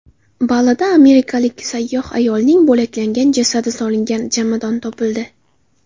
Balida amerikalik sayyoh ayolning bo‘laklangan jasadi solingan jomadon topildi.